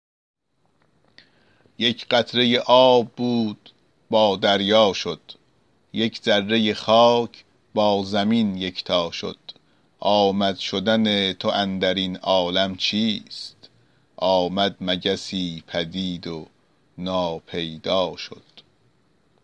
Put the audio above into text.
یک قطره آب بود با دریا شد یک ذره خاک با زمین یکتا شد آمد شدن تو اندر این عالم چیست آمد مگسی پدید و ناپیدا شد